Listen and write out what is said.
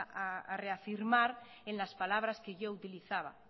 a reafirmar en las palabras que yo utilizaba